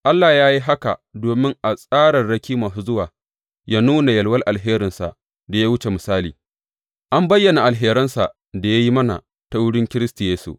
Allah ya yi haka domin a tsararraki masu zuwa yă nuna yalwar alherinsa da ya wuce misali, an bayyana alheransa da ya yi mana ta wurin Kiristi Yesu.